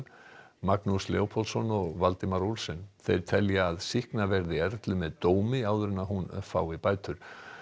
Magnús Leópoldsson og Valdimar Olsen þeir telja að sýkna verði Erlu með dómi áður en hún fái bætur